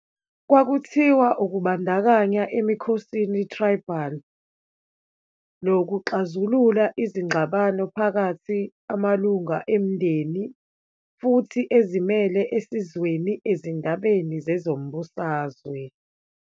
Kwakuthiwa ukubandakanya emikhosini tribal, lokuxazulula izingxabano phakathi amalungu emindeni, futhi ezimele esizweni ezindabeni zezombusazwe.